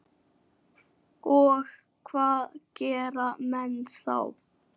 Og hvað gera menn þá?